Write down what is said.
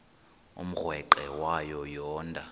umrweqe wayo yoonda